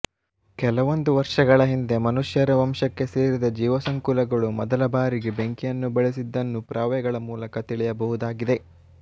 ಕೆಲವೊಂದು ವರ್ಷಗಳ ಹಿಂದೆ ಮನುಷ್ಯರ ವಂಶಕ್ಕೆ ಸೇರಿದ ಜೀವಸಂಕುಲಗಳು ಮೊದಲ ಬಾರಿಗೆ ಬೆಂಕಿಯನ್ನು ಬಳಸಿದ್ದನ್ನು ಪುರಾವೆಗಳ ಮೂಲಕ ತಿಳಿಯಬಹುದಾಗಿದೆ